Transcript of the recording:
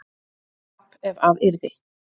tap ef að yrði